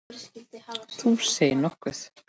Þú segir nokkuð.